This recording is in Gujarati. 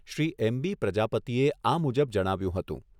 શ્રી એમબી પ્રજાપતિએ આ મુજબ જણાવ્યુંં હતું.